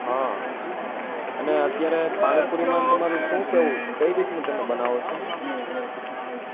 હા એટલે અત્યારે પાણીપુરી માં તમારું શું કેવું કઈ રીત નું તમે બનાવો છો